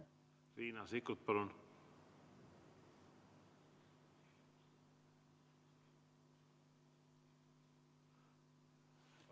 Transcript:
Riina Sikkut, palun!